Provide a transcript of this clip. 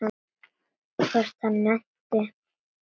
Hvort hann nennti.